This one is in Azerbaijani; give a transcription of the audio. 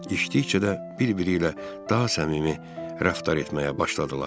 İçdikcə də bir-biri ilə daha səmimi rəftar etməyə başladılar.